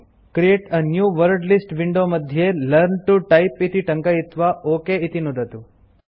create a new wordlist window मध्ये learn to type इति टङ्कयित्वा ओक इति नुदतु